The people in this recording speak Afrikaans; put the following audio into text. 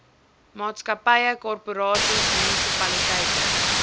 maatskappye korporasies munisipaliteite